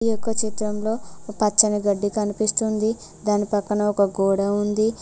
ఇదొక చిత్రంలో పచ్చని గడ్డి కనిపిస్తుంది దానిపక్కన ఒక గోడ ఉంది.